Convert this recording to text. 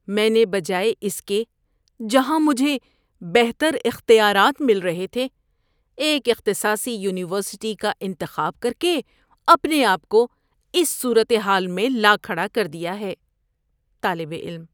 میں نے بجائے اس کے جہاں مجھے بہتر اختیارات مل رہے تھے، ایک اختصاصی یونیورسٹی کا انتخاب کر کے اپنے آپ کو اس صورت حال میں لا کھڑا کر دیا ہے۔ (طالب علم)